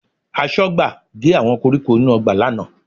Aṣọ́gbà gé àwọn koríko inú ọgbà lánàá